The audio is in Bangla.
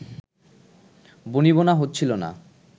বনিবনা হচ্ছিলো না